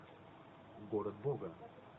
город бога